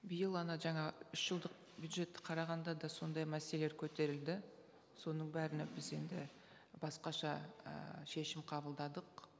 биыл ана жаңа үш жылдық бюджетті қарағанда да сондай мәселелер көтерілді соның бәріне біз енді басқаша і шешім қабылдадық